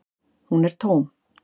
Hún er tóm.